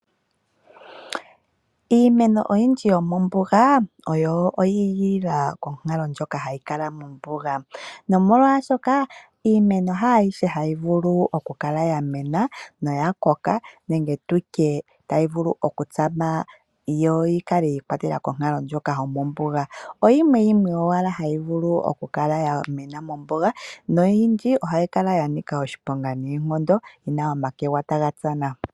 Iimeno oyindji yomombuga oyi igilila konkalo ndjoka hayi kala mombuga iimeno haayishe hayi vulu okukala yamena noya koka nenge tutye tayi vulu okutsama yo yikale konkalo ndjoka yomombuga . Oyimwe owala hayi vulu okukala yamena mombuga noyindji ohayi kala yanika oshiponga noonkondo omakwega taga tsana.